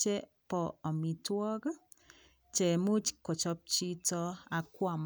chepo amitwok chemuch kochop chito akwam.